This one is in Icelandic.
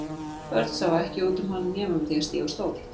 Börn sáu ekki út um hann nema með því að stíga á stól.